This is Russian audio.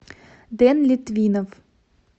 дэн литвинов